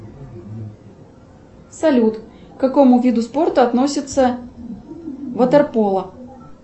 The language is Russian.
салют к какому виду спорта относится ватерполо